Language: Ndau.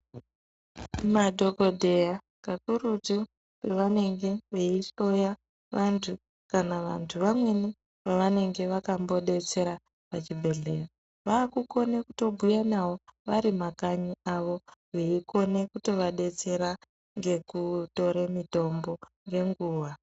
Madhokoteya kakurutu pavanenge veihloya vantu kana vantu vamweni vavanenge vakambo detsera kuchibhedhlera vavakukona kutobhuya navo avri mumakanyi mwawo veikone kuto vadetsera nekuvape mitombo nenguva.